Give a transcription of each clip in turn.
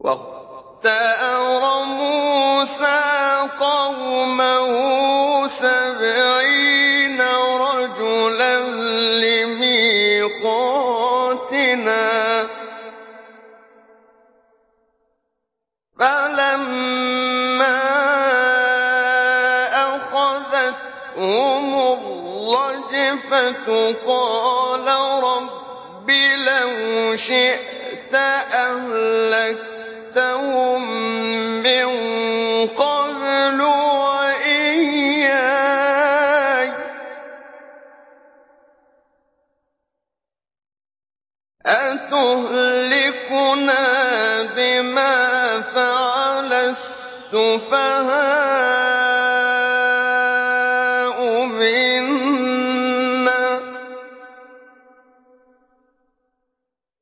وَاخْتَارَ مُوسَىٰ قَوْمَهُ سَبْعِينَ رَجُلًا لِّمِيقَاتِنَا ۖ فَلَمَّا أَخَذَتْهُمُ الرَّجْفَةُ قَالَ رَبِّ لَوْ شِئْتَ أَهْلَكْتَهُم مِّن قَبْلُ وَإِيَّايَ ۖ أَتُهْلِكُنَا بِمَا فَعَلَ السُّفَهَاءُ مِنَّا ۖ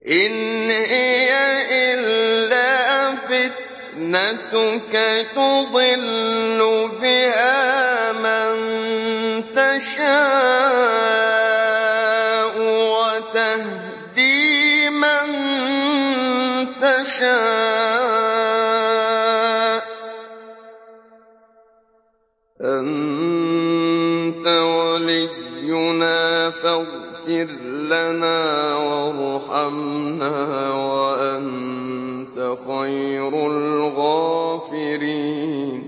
إِنْ هِيَ إِلَّا فِتْنَتُكَ تُضِلُّ بِهَا مَن تَشَاءُ وَتَهْدِي مَن تَشَاءُ ۖ أَنتَ وَلِيُّنَا فَاغْفِرْ لَنَا وَارْحَمْنَا ۖ وَأَنتَ خَيْرُ الْغَافِرِينَ